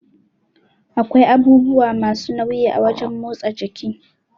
Akwai abubuwa masu nauyi a wajan motsa jiki